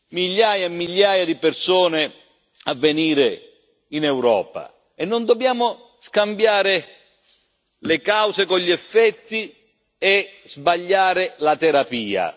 migliaia e migliaia di persone a venire in Europa e non dobbiamo scambiare le cause con gli effetti e sbagliare la terapia.